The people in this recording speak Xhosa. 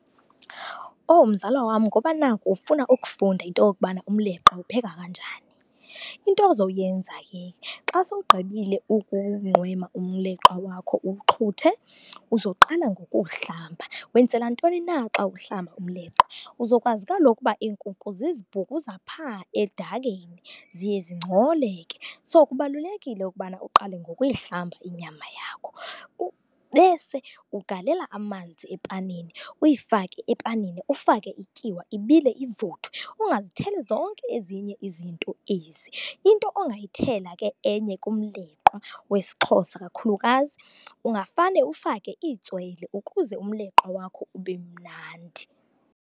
Oh mzala wam, ngoba naku ufuna ukufunda into yokubana umleqwa uwupheka kanjani, into ozowuyenza ke xa sowugqibile umleqwa wakho uwuxhuthe, uzoqala ngokuwuhlamba. Wenzela ntoni na xa uhlamba umleqwa? Uzokwazi kaloku ukuba iinkukhu zizibhukuza phaa edakeni ziye zingcole ke, so kubalulekile ukubana uqale ngokuyihlamba inyama yakho. Bese ugalela amanzi epanini, uyifake epanini, ufake ityiwa, ibile ivuthwe. Ungazitheli zonke ezinye izinto ezi. Into ongayithela ke enye kumleqwa wesiXhosa kakhulukazi, ungafane ufake itswele ukuze umleqwa wakho ube mnandi.